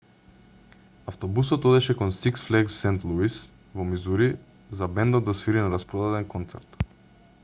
автобусот одеше кон six flags st louis во мисури за бендот да свири на распродаден концерт